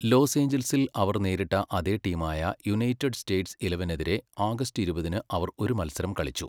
Loss ഏഞ്ചൽസിൽ അവർ നേരിട്ട അതേ ടീമായ യുണൈറ്റഡ് സ്റ്റേറ്റ്സ് ഇലവനെതിരെ ആഗസ്റ്റ് ഇരുപതിന് അവർ ഒരു മത്സരം കളിച്ചു.